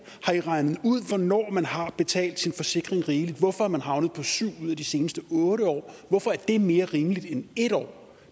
har i regnet ud hvornår man har betalt sin forsikring rigeligt hvorfor er man havnet på syv ud af de seneste otte år hvorfor er det mere rimeligt end en år